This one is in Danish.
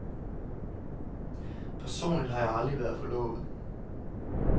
Personligt har jeg aldrig været forlovet.